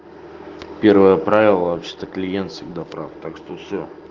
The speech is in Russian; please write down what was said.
первое правило вообще-то клиент всегда прав так что все